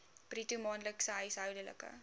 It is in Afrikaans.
bruto maandelikse huishoudelike